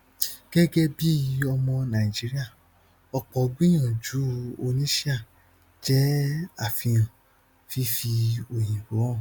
gẹgẹ bí ọmọ nàìjíríà ọpọ ìgbìyànjú oníṣíà jẹ àfihàn fífi òyìnbó hàn